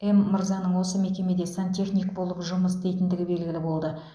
м мырзаның осы мекемеде сантехник болып жұмыс істейтіндігі белгілі болды